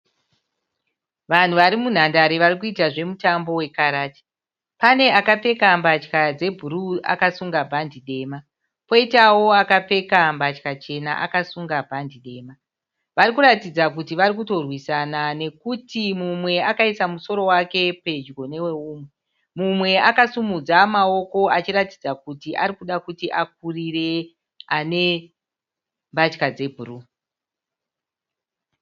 Vanhu vari munhandare vari kuita zvemutambo wekarati. Pane akapfeka mbatya dzebhuruu akasunga bhande dema. Poitawo akapfeka mbatya chena akasunga bhande dema. Vari kuratidza kuti vari kutorwisana nekuti mumwe akaisa musoro wake pedyo newe umwe. Mumwe akasimudza mawoko achiratidza kuti ari kuda kuti akurire ane mbatya dzebhuruu.